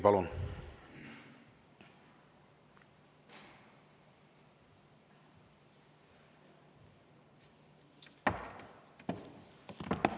Palun!